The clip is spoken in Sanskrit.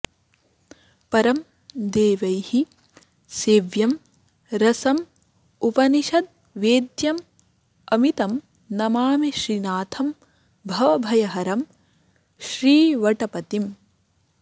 परं देवैः सेव्यं रसमुपनिषद्वेद्यममितं नमामि श्रीनाथं भवभयहरं श्रीवटपतिम्